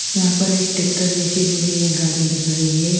यहां पर एक टेक्टर जैसी जो है यह गाड़ी दिख रही है।